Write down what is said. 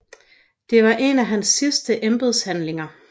Det var en af hans sidste embedshandlinger